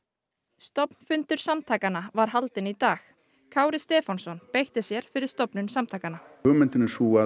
stofnfundur samtakanna var haldinn í dag Kári Stefánsson beitti sér fyrir stofnun samtakanna hugmyndin er sú að